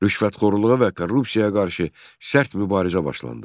Rüşvətxorluğa və korrupsiyaya qarşı sərt mübarizə başlandı.